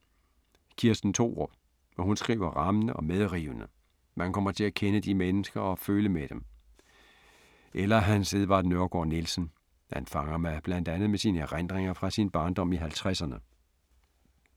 Kirsten Thorup. Hun skriver rammende og medrivende, man kommer til at kende de mennesker og føle med dem. Eller Hans Edvard Nørregård-Nielsen. Han fanger mig, blandt andet med sine erindringer fra sin barndom i 50’erne.